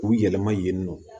K'u yɛlɛma yen nɔ